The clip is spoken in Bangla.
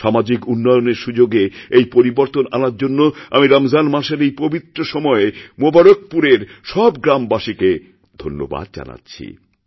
সামাজিক উন্নয়নের সুযোগে এই পরিবর্তনআনার জন্য আমি রমজান মাসের এই পবিত্র সময়ে মুবারকপুরের সব গ্রামবাসীকে ধন্যবাদজানাচ্ছি